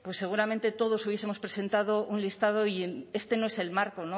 pues seguramente todos hubiesemos presentado un listado y este no es el marco